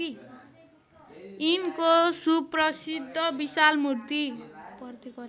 यिनको सुप्रसिद्ध विशालमूर्ति